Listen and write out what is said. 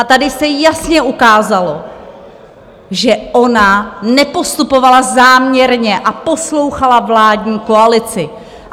A tady se jasně ukázalo, že ona nepostupovala záměrně a poslouchala vládní koalici.